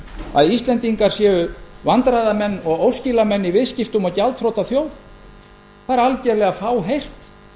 að íslendingar séu vandræðamenn og óskilamenn í viðskiptum og gjaldþrota þjóð það er algerlega fáheyrt